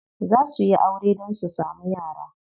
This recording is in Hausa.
Za suyi aure dan su samu yara.